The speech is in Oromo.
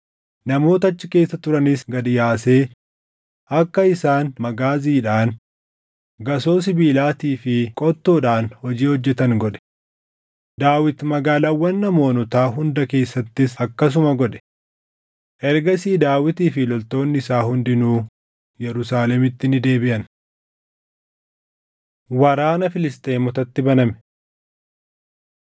namoota achi keessa turanis gad yaasee akka isaan magaaziidhaan, gasoo sibiilaatii fi qottoodhaan hojii hojjetan godhe. Daawit magaalaawwan Amoonotaa hunda keessattis akkasuma godhe. Ergasii Daawitii fi loltoonni isaa hundinuu Yerusaalemitti ni deebiʼan. Waraana Filisxeemotatti Baname 2:4‑8 kwf – 2Sm 21:15‑22